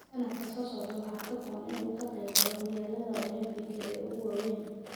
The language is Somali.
Sannadka soo socda waxaa ka go'an in uu ka qaybgalo horyaallada Olombikada ee ugu weyn.